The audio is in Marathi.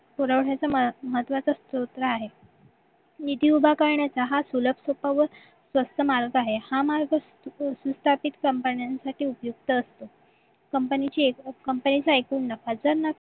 पुरवण्याचे महत्वाचे स्तोत्र आहे निधी उभा करण्याचा हा सुलभ सोपा व स्वस्त मार्ग आहे हा सुस्थापित company साठी उपयुक्त असतो कंपनीची एकूण कमतरता आणि एकूण नफा जर